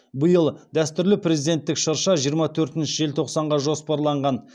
биыл дәстүрлі президенттік шырша жиырма төртінші желтоқсанға жоспарланған